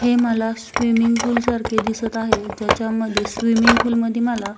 हे मला swimming pool सारखे दिसत आहे ज्याच्यामध्ये स्विमिंग पूल मदि मला --